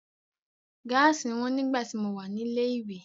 Gáàsì wọn nígbà tí mo wà ní ilé ìwé.